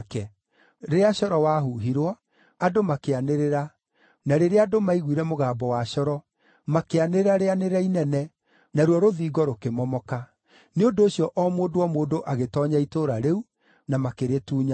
Rĩrĩa coro wahuhirwo, andũ makĩanĩrĩra, na rĩrĩa andũ maaiguire mũgambo wa coro, makĩanĩrĩra rĩanĩrĩra inene, naruo rũthingo rũkĩmomoka; nĩ ũndũ ũcio o mũndũ o mũndũ agĩtoonya itũũra rĩu, na makĩrĩtunyana.